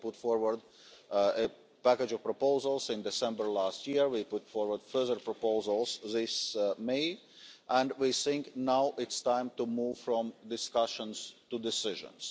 we put forward a package of proposals in December last year, we put forward further proposals this May, and we think it is now time to move from discussions to decisions.